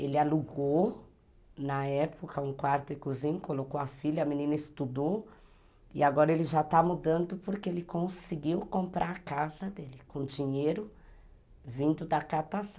Ele alugou, na época, um quarto e cozinha, colocou a filha, a menina estudou, e agora ele já está mudando porque ele conseguiu comprar a casa dele com dinheiro vindo da catação.